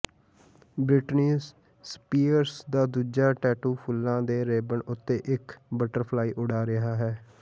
Britney Spears ਦਾ ਦੂਜਾ tattoo ਫੁੱਲਾਂ ਦੇ ਰਿਬਨ ਉੱਤੇ ਇੱਕ ਬਟਰਫਲਾਈ ਉਡਾ ਰਿਹਾ ਹੈ